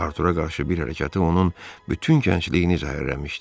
Artura qarşı bir hərəkəti onun bütün gəncliyini zəhərləmişdi.